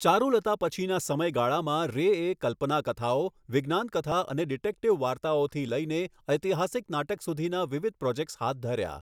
ચારુલતા પછીના સમયગાળામાં, રેએ કલ્પના કથાઓ, વિજ્ઞાન કથા અને ડિટેક્ટીવ વાર્તાઓથી લઈને ઐતિહાસિક નાટક સુધીના વિવિધ પ્રોજેક્ટ્સ હાથ ધર્યા.